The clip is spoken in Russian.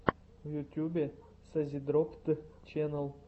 в ютубе созидроппд ченнал